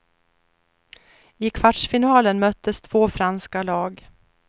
I kvartsfinalen möttes två franska lag.